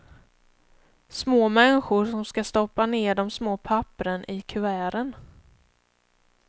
Små människor som ska stoppa ned de små pappren i kuverten.